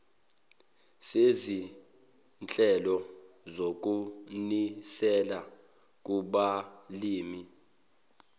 sezinhlelo zokunisela kubalimi